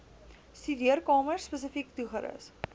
studeerkamer spesifiek toegerus